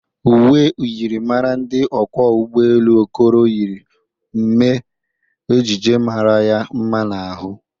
Ụwe myịrịmara ndị ọkwọ ụgbọ elụ Okoro yiri mee ejije mara ya mma n'ahụ.